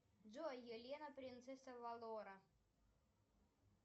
джой елена принцесса авалора